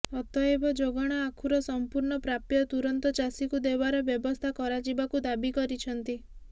ଅତଏବ ଯୋଗାଣ ଆଖୁର ସମ୍ପୂର୍ଣ୍ଣ ପ୍ରାପ୍ୟ ତୁରନ୍ତ ଚାଷୀକୁ ଦେବାର ବ୍ୟବସ୍ଥା କରାଯିବାକୁ ଦାବୀ କରିଛନ୍ତି